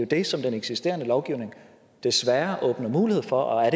det som den eksisterende lovgivning desværre åbner mulighed for og er